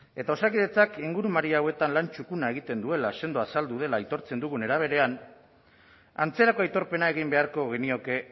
eta osakidetzak ingurumari hauetan lan txukuna egiten duela sendo azaldu dela aitortzen dugun era berean antzerako aitorpena egin beharko genioke